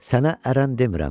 Sənə ərən demirəm.